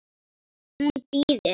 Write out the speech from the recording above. Hún bíður!